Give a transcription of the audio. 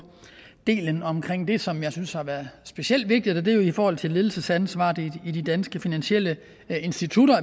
delen omkring det som jeg synes har været specielt vigtigt og det er jo i forhold til ledelsesansvaret i de danske finansielle institutter